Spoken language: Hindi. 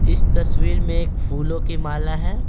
इस तस्वीर में एक फूलों की माला है।